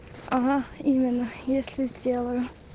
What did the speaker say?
ага именно если сделаю